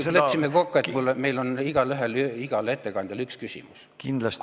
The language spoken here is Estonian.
Me ju leppisime kokku, et meil igaühel on igale ettekandjale üks küsimus.